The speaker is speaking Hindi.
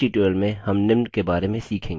इस tutorial में हम निम्न के बारे में सीखेंगे